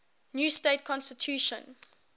new state constitution